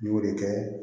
N y'o de kɛ